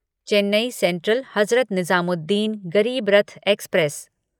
Chennai Central Hazrat Nizamuddin Garib Rath express